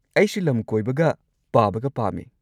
ꯑꯩꯁꯨ ꯂꯝ ꯀꯣꯏꯕꯒ ꯄꯥꯕꯒ ꯄꯥꯝꯃꯦ꯫